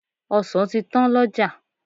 Ọsàn ti tán lọ́jà.